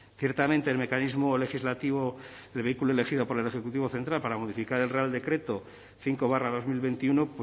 ciertamente el mecanismo legislativo el vehículo elegido por el ejecutivo central para modificar el real decreto cinco barra dos mil veintiuno